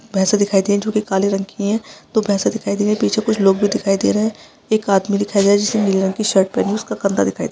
भैसे दिखाई दे रही है जो की काले रंग की है दो भैसे दिखाई दे रही है पीछे कुछ लोग भी दिखाई दे रहे है एक आदमी दिखाई दे रहा जिसने नीले रंग की शर्ट पहनी उसका कंधा दिखाई दे --